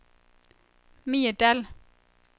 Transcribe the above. Mie Dall